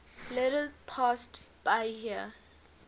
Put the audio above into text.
little past bahia